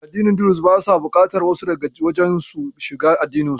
Addini Duruz basa buƙatar wasu daga waje su shiga addininsu.